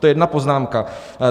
To je jedna poznámka.